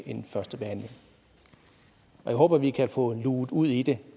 en første behandling og jeg håber at vi kan få luget ud i det